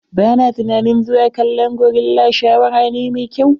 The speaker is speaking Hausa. Ba na tunanin zuwa kallon gorilla shawara ne mai kyau.